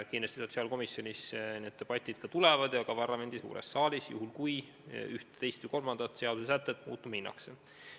Kindlasti tulevad debatid sotsiaalkomisjonis ja ka parlamendi suures saalis, juhul kui ühte, teist või kolmandat seadusesätet muuta soovitakse.